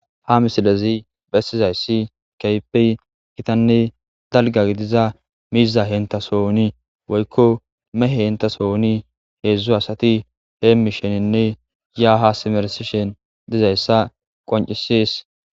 Ha misilezi bessizayssi keypey gitanne dalga gidiza miiza hentasooni woykko mehe henta sooni heedzdzu asati heemmishenenne yaaha simersishen dizayssa qoncisis